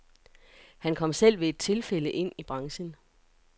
Han kom selv ved et tilfælde ind i branchen.